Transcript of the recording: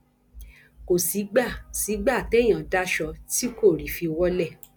kò sígbà sígbà téèyàn daṣọ tí kò rí i fi wọlẹ